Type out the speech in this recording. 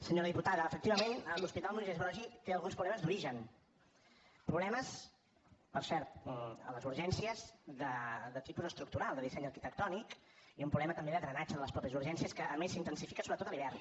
senyora diputada efectivament l’hospital moisès broggi té alguns problemes d’origen problemes per cert a les urgències de tipus estructural de disseny arquitectònic i un problema també de drenatge de les mateixes urgències que a més s’intensifica sobretot a l’hivern